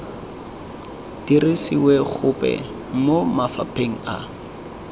dirisiwe gope mo mafapheng a